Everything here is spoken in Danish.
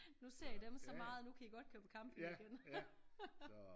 Nu ser i dem så meget at nu kan i godt køre på camping igen